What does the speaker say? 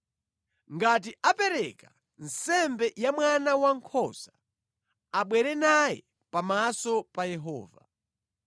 Ngati apereka nsembe ya mwana wankhosa, abwere naye pamaso pa Yehova.